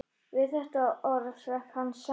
Við þetta orð hrökk hann saman.